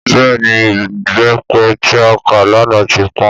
Bẹ́ẹ̀ni, ìbépe tí a ká lánà ti pọ́n.